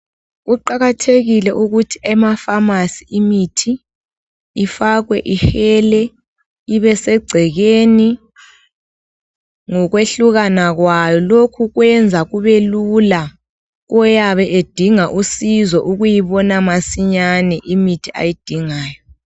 Kuqakathekile ukuthi emaPharmacy imithi ifakwe ihele ibesegcekeni ngokwehlukana kwayo. Lokhu kuyenza kubelula koyabe edinga usizo ukuyibona masinyane imithi ayidingayo.